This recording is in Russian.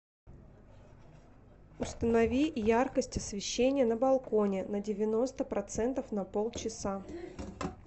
установи яркость освещение на балконе на девяносто процентов на полчаса